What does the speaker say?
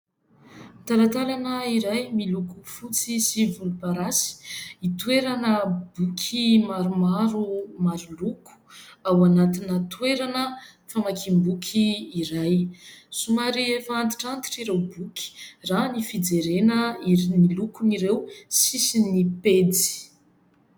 Talatalana iray miloko fotsy sy volomparasy, hitoerana boky maromaro maro loko, ao anatinà toerana famakiam-boky iray. Somary efa antitrantitra ireo boky raha ny fijerena ireo lokony ireo, sisin'ny pejy.